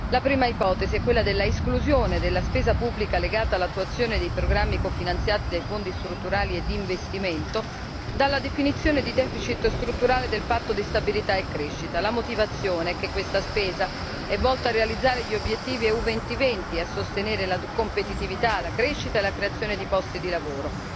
La prima ipotesi è quella dell'esclusione della spesa pubblica legata all'attuazione dei programmi cofinanziati dai Fondi strutturali e di investimento dalla definizione di deficit strutturale del patto di stabilità e crescita la motivazione è che questa spesa è volta a realizzare gli obiettivi EU2020 e a sostenere la competitività, la crescita e la creazione di posti di lavoro.